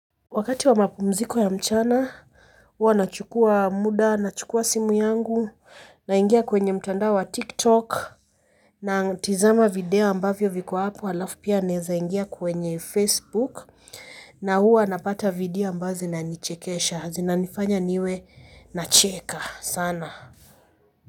Wakati wa mapumziko ya mchana huwa nachukua muda nachukua simu yangu, naingia kwenye mtandao wa tiktok na tizama video ambavyo viko hapo alafu pia naeza ingia kwenye facebook na huwa napata video ambao zinanichekesha. Zinanifanya niwe nacheka sana.